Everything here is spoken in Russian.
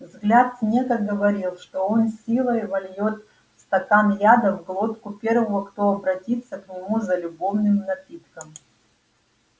взгляд снегга говорил что он силой вольёт стакан яда в глотку первого кто обратится к нему за любовным напитком